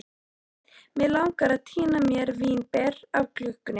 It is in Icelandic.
Mig langar að tína mér vínber af klukkunni.